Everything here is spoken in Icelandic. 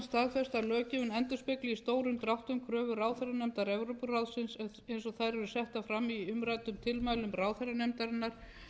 endurspegli í stórum dráttum kröfu ráðherranefndar evrópuráðsins eins og þær eru settar fram í umræddum tilmælum ráðherranefndarinnar